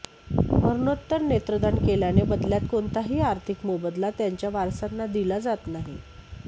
मरणोत्तर नेत्रदान केलेल्या बदल्यात कोणताही आर्थिक मोबदला त्यांच्या वारसाना दिला जात नाही